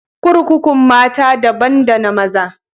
Kurkukun mata dabban da na maza.